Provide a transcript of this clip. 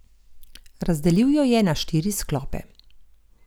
Razdelil jo je na štiri sklope.